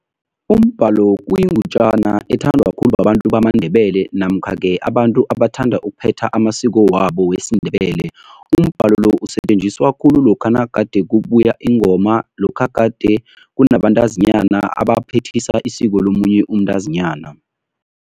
Umbhalo kuyingutjana ethandwa khulu babantu bamaNdebele namkha-ke abantu abathanda ukuphetha amasiko wabo wesiNdebele. Umbhalo lo usetjenziswa khulu lokha nagade kubuya ingoma, lokha gade kunabantazinyana abaphethisa isiko lomunye umntazinyana.